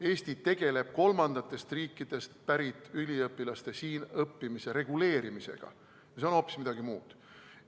Eesti tegeleb kolmandatest riikidest pärit üliõpilaste siin õppimise reguleerimisega, mis on hoopis midagi muud.